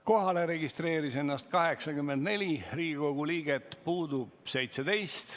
Kohalolijaks registreerus 84 Riigikogu liiget, puudub 17.